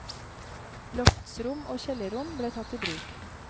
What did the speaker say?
Loftsrom og kjellerrom ble tatt i bruk.